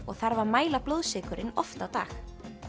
og þarf að mæla blóðsykurinn oft á dag